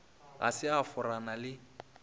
ga se a forana le